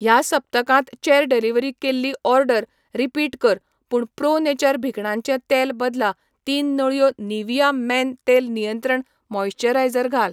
ह्या सप्तकांत चेर डिलिव्हरी केल्ली ऑर्डर रिपीट कर पूण प्रो नेचर भिकणांचे तेल बदला तीन नळयो निव्हिया मेन तेल नियंत्रण मॉइस्चरायझर घाल.